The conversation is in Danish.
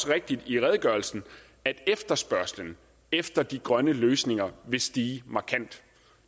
rigtigt i redegørelsen at efterspørgslen efter de grønne løsninger vil stige markant